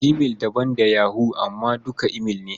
Gmail daban da yahoo amma duka imail ne.